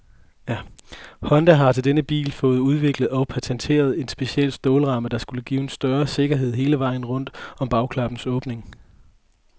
Honda har til denne bil fået udviklet og patenteret en speciel stålramme, der skulle give en større sikkerhed hele vejen rundt om bagklappens åbning.